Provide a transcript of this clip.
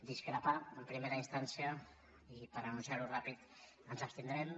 discrepar en primera instància i per anunciar ho ràpidament ens abstindrem